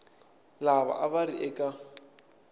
lava a va ri eka